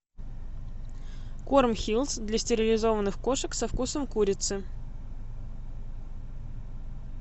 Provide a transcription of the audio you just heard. корм хиллс для стерилизованных кошек со вкусом курицы